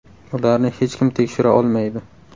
Ularni hech kim tekshira olmaydi.